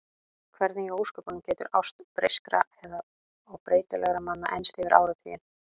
Hvernig í ósköpunum getur ást breyskra og breytilegra manna enst yfir áratugina?